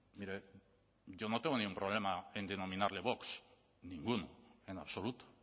mire yo no tengo ningún problema en denominarle vox ninguno en absoluto